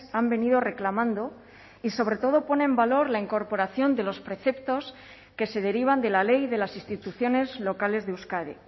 han venido reclamando y sobre todo pone en valor la incorporación de los preceptos que se derivan de la ley de las instituciones locales de euskadi